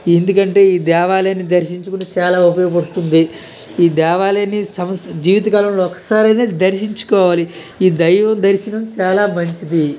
ఎందుకంటే ఈ దేవాలయాన్ని దర్శించుకుంటే చాలా ఉపయోగం వస్తుంది. ఈ దేవాలయాన్ని సంవత్సరం జీవిత కాలంలో ఒక్కసారైనా దర్శించుకోవాలి. ఈ దైవ దర్శనం చాలా మంచిది.